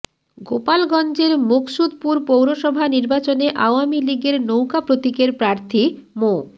গোপালগঞ্জের মুকসুদপুর পৌরসভা নির্বাচনে আওয়ামী লীগের নৌকা প্রতীকের প্রার্থী মো